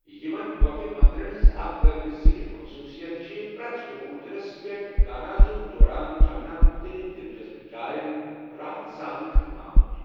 یِمَن گۄپھہٕ مندِرَن ہنٛز اکھ قٲبلِ ذِکر خصوٗصِیَت چھِ پرٮ۪تھ چبوترَس پٮ۪ٹھ گانازُک دوران جمنا مُختلف دِلچسٕپ جایَن راحت سان کھنٛنہٕ آمُت۔